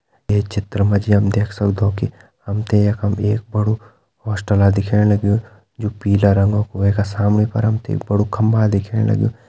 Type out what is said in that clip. ये चित्र म जी हम देख सगदों कि हम तें यखम एक बड़ु हॉस्टला दिखेण लग्युं जु पीला रंगा कु वै का सामणी पर हम तें एक बड़ु खम्बा दिखेण लग्युं।